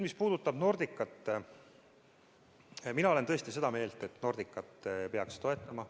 Mis puudutab Nordicat, siis mina olen tõesti seda meelt, et Nordicat peaks toetama.